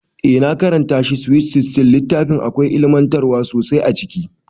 Eh na karanta shi SWEET SIXTEEN, littafin akwai ilimantarwa sosai a ciki